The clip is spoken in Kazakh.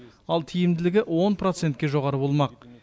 ал тиімділігі он процентке жоғары болмақ